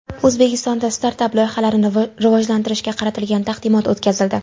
O‘zbekistonda startap-loyihalarni rivojlantirishga qaratilgan taqdimot o‘tkazildi.